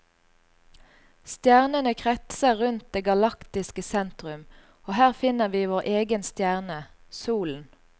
Stjernene kretser rundt det galaktiske sentrum, og her finner vi vår egen stjerne, solen.